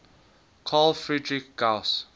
carl friedrich gauss